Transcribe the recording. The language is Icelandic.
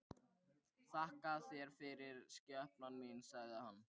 Þakka þér fyrir, skepnan mín, sagði hann.